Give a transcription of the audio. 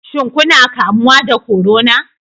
Shin kuna kamuwa da corona?